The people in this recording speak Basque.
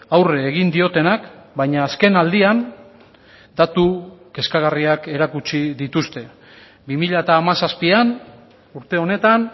aurre egin diotenak baina azken aldian datu kezkagarriak erakutsi dituzte bi mila hamazazpian urte honetan